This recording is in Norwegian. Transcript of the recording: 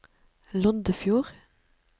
Loddefjord